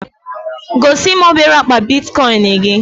Gosi m obere akpa Bitikoin gị